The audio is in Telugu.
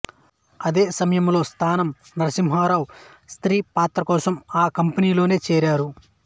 అదేసమయంలో స్థానం నరసింహరావు స్త్రీ పాత్రకోసం ఆ కంపెనీలోనే చేరారు